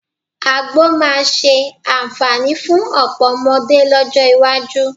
Àgbò máa ṣe àǹfààní fún ọ̀pọ̀ ọmọdé lọ́jọ́ iwájú